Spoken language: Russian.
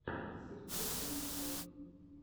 сергей клочков